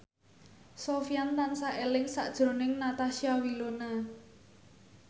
Sofyan tansah eling sakjroning Natasha Wilona